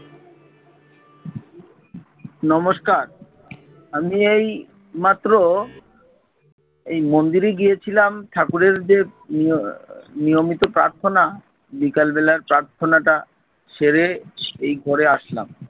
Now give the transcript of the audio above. নমস্কার, আমি এইমাত্র এই মন্দিরে গিয়েছিলাম ঠাকুরের যে নিয়~ নিয়মিত প্রার্থনা বিকালবেলার প্রার্থনাটা সেরে সেই ঘরে আসলাম ।